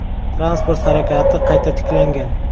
Transport harakati qayta tiklangan.